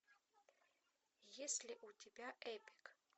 есть ли у тебя эпик